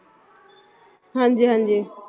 ਹਾਂਜੀ ਹਾਂਜੀ